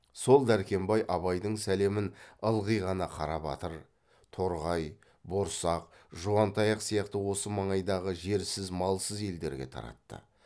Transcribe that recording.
сол дәркембай абайдың сәлемін ылғи ғана қарабатыр торғай борсақ жуантаяқ сияқты осы маңайдағы жерсіз малсыз елдерге таратты